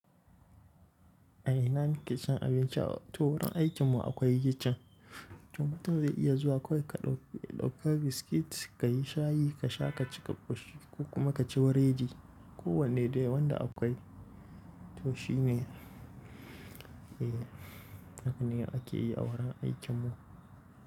A ina kike cin abinci? To wurin aikin mu akwai kicin, to mutum zai iya zuwa akwai ka ɗauka biskit, ka yi shayi ka sha ka ci ka kwashi ko kuma ka ci weredi. Ko wanne dai wanda akwai to shine eh haka ne yake yi a wurin aikin mu.